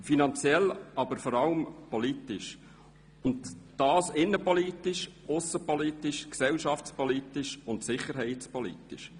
finanziell, aber vor allem auch politisch, und zwar innenpolitisch, aussenpolitisch, gesellschaftspolitisch und sicherheitspolitisch.